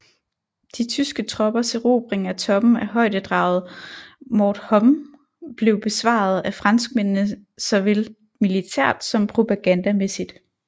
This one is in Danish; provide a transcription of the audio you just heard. De tyske troppers erobring af toppen af højdedraget Mort Homme blev besvaret af franskmændene såvel militært som propagandamæssigt